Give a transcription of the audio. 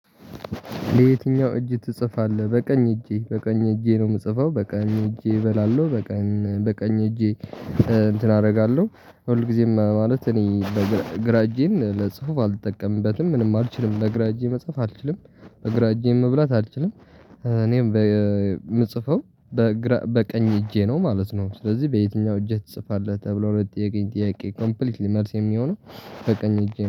ለየትኛው እጅ ትጽፋለህ በቀኝ እጄ በቀኝ እጄ ነው የምጽፈው በቀኝ እጄ እበላለሁ በቀን በቀኝ እጄ እንትን አደርጋለሁ ሁልጊዜም ማለት እኔ በግራ እጄን ለጽሁፍ አልጠቀምበትም ምንም አልችልም በግራ እጄ መጽሐፍ አልችልም በግራ እጄ መብላት አልችልም እኔም የምጽፈው በግራ በቀኝ እጄ ነው ማለት ነው ስለዚህ በየትኛው እጄ ትጽፋለህ ተብሎ ለጥያቄ ጥያቄ ኮምፕሊትሊ መልሴ የሚሆነው በቀኝ እጄ።